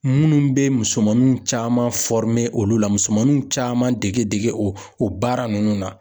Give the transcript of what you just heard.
Minnu bɛ musomaninw caman olu la musomaninw caman dege dege o baara ninnu na.